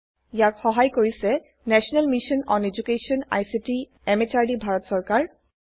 ইয়াক সহাই কৰিছে national mission on educational ICT MHRD Bharat চৰকাৰ